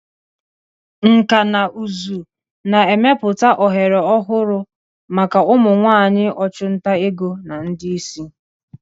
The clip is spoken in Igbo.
Nkà na ụzụ na-emepụta ohere ọhụrụ maka ụmụ nwanyị ọchụnta ego na ndị isi.